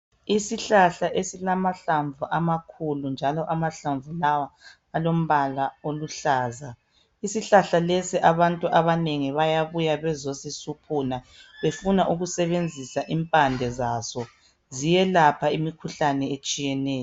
Isihlahla esilamahlamvu amakhulu njalo amahlamvu lawa alombala oluhlaza, isihlahla lesi abantu abanengi bayabuya bezosisuphuna befuna ukusebenzisa impande zaso, ziyelapha imikhuhlane etshiyeneyo.